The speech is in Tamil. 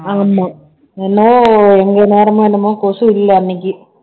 ஆமா என்னமோ எங்க நேரமோ என்னமோ கொசு இல்ல அன்னைக்கு